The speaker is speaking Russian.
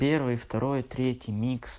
первый второй третий микс